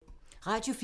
Radio 4